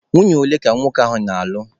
Nwunye ole ka nwoke ahụ na-alụ?